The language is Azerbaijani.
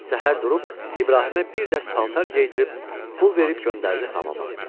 Səhər durub İbrahimə bir dəst paltar geydirib, pul verib göndərdi hamama.